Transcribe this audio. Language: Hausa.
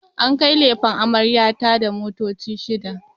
An kai lefen amarya ta da motoci shida